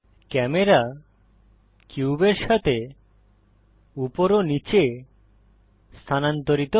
camera কিউবের সাথে উপর ও নীচে স্থানান্তরিত হয়